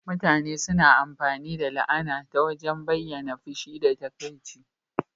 Mutane suna amfani da la'ana ta wajen bayyana fushi da takaici.